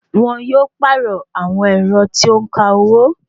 Wọn yóò pàrọ̀ àwọn ẹ̀rọ tí ó ń ka owó